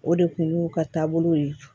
O de kun y'u ka taabolow ye